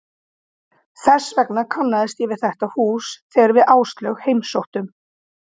Þess vegna kannaðist ég við þetta hús þegar við Áslaug heimsóttum